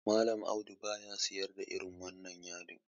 Mallam Audu baya sayar da irin wannan yadin.